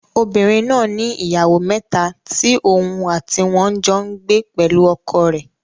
Obìnrin náà ni ìyàwó mẹ́ta tí òun àti wọn jọ n gbé pẹ̀lú ọkọ rẹ̀